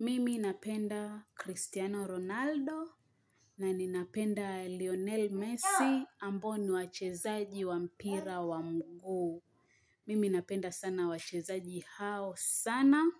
Mimi napenda Cristiano Ronaldo na ninapenda Lionel Messi ambao ni wachezaji wa mpira wa mguu. Mimi napenda sana wachezaji hao sana.